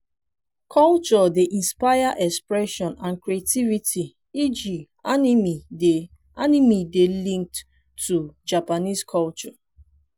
culture dey inspire expression and creativity eg animie dey animie dey linked to japanese culture